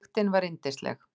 Lyktin var yndisleg.